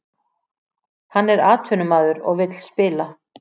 Hann er atvinnumaður og vill spila